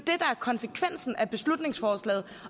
konsekvensen af beslutningsforslaget